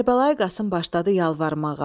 Kərbəlayi Qasım başladı yalvarmağa.